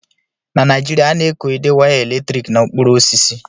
Na Naijiria, a na-ekode waya eletrik na okporo osisi.